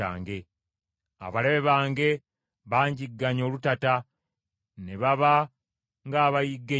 Abalabe bange banjigganya olutata ne baba ng’abayigga ennyonyi.